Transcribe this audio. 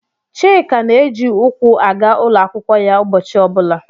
Chika na-eji ụkwụ aga ụlọ akwụkwọ ya ụbọchị ọ bụla.